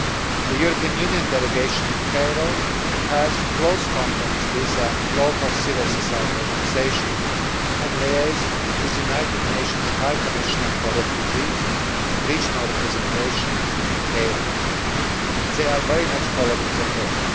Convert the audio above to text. The European Union delegation in Cairo has close contacts with local civil society organisations and liaises with the United Nations High Commissioner for Refugees' regional representation in Cairo. They are very much following the case.